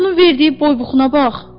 Sən bunun verdiyi boy-buxuna bax!